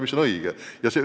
See on õige!